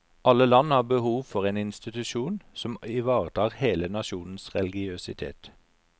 Alle land har behov for en institusjon som ivaretar hele nasjonens religiøsitet.